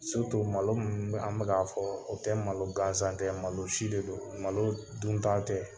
malo min n'an bɛk'a fɔ o tɛ malo gansan tɛ malosi de don malo dunta tɛ.